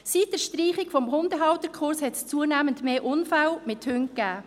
Seit der Streichung des Hundehalterkurses gab es zunehmend mehr Unfälle mit Hunden.